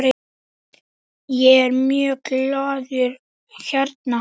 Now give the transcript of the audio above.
Ég er mjög glaður hérna.